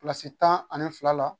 tan ani fila la